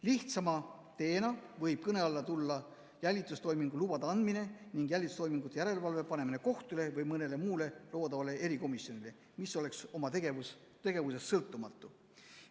Lihtsama teena võib kõne alla tulla jälitustoimingu lubade andmine ning jälitustoimingute järelevalve panemine kohtule või mõnele loodavale erikomisjonile, mis oleks oma tegevuses sõltumatu.